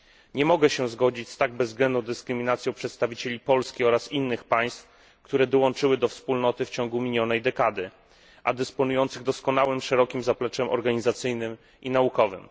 Nie mogę się zgodzić z tak bezwzględną dyskryminacją przedstawicieli Polski oraz innych państw, które dołączyły do Wspólnoty w ciągu minionej dekady, a dysponujących doskonałym, szerokim zapleczem organizacyjnym i naukowym.